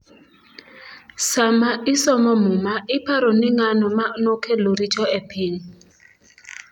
' Sama isomo Muma, iparo ni ng'ano ma nokelo richo e piny? '